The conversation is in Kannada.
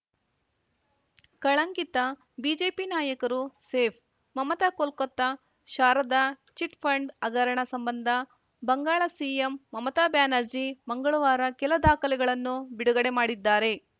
ಕಳಂಕಿತ ಬಿಜೆಪಿ ನಾಯಕರು ಸೇಫ್‌ ಮಮತಾ ಕೋಲ್ಕತಾ ಶಾರದಾ ಚಿಟ್‌ಫಂಡ್‌ ಹಗರಣ ಸಂಬಂಧ ಬಂಗಾಳ ಸಿಎಂ ಮಮತಾ ಬ್ಯಾನರ್ಜಿ ಮಂಗಳವಾರ ಕೆಲ ದಾಖಲೆಗಳನ್ನು ಬಿಡುಗಡೆ ಮಾಡಿದ್ದಾರೆ